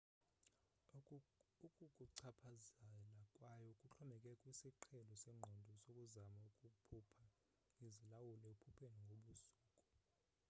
ukukuchaphazela kwayo kuxhomekeke kwisiqhelo sengqondo sokuzama ukuphupha uzilawula ephupheni ngobusuku